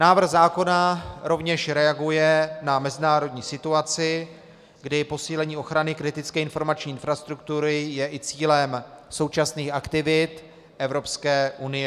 Návrh zákona rovněž reaguje na mezinárodní situaci, kdy posílení ochrany kritické informační infrastruktury je i cílem současných aktivit Evropské unie.